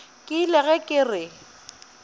ke ile ge ke re